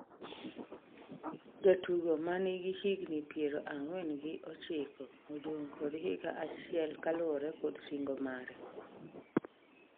jatugogo ma nigi higni piero ang'wen gi ochiko odong' kod higa achiel kaluwore kod singo mare